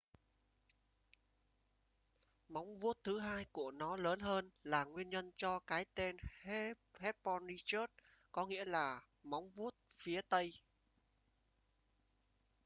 móng vuốt thứ hai của nó lớn hơn là nguyên nhân cho cái tên hesperonychus có nghĩa là móng vuốt phía tây